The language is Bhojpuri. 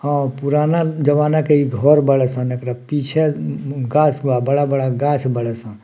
हाँ पुराना जमाना के इ घर बाड़े सन एकरा पीछे गाछ बा बड़ा-बड़ा गाछ बाड़े सन।